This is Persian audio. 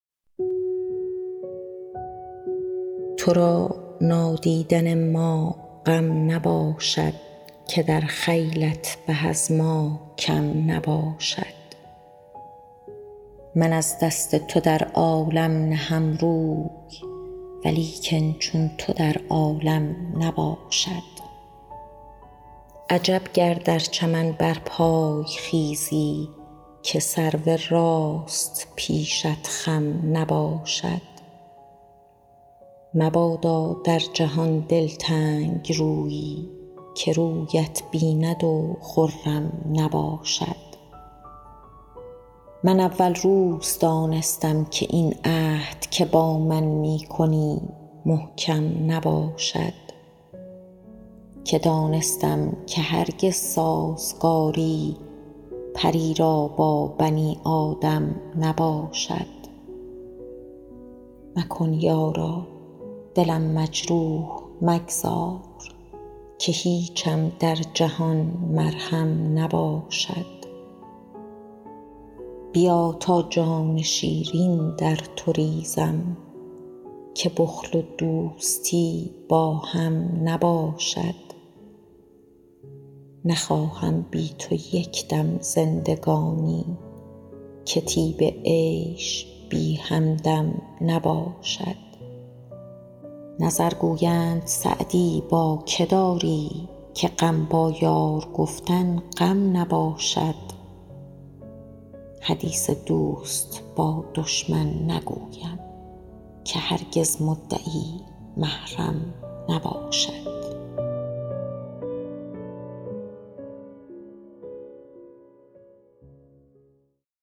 تو را نادیدن ما غم نباشد که در خیلت به از ما کم نباشد من از دست تو در عالم نهم روی ولیکن چون تو در عالم نباشد عجب گر در چمن برپای خیزی که سرو راست پیشت خم نباشد مبادا در جهان دلتنگ رویی که رویت بیند و خرم نباشد من اول روز دانستم که این عهد که با من می کنی محکم نباشد که دانستم که هرگز سازگاری پری را با بنی آدم نباشد مکن یارا دلم مجروح مگذار که هیچم در جهان مرهم نباشد بیا تا جان شیرین در تو ریزم که بخل و دوستی با هم نباشد نخواهم بی تو یک دم زندگانی که طیب عیش بی همدم نباشد نظر گویند سعدی با که داری که غم با یار گفتن غم نباشد حدیث دوست با دشمن نگویم که هرگز مدعی محرم نباشد